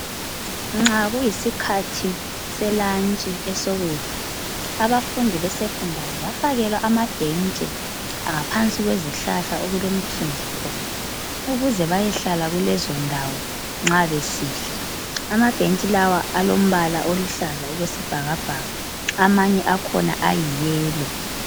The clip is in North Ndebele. Nxa kuyisikhathi selunch esokudla. Abafundi besecondary bafakelwa amabhentshi ngaphansi kwezihlahla okulomthunzi khona ukuze bayehlala kulezondawo nxa besidla. Amabhentshi lawa alombala oluhlaza okwesibhakabhaka amanye akhona ayiyellow.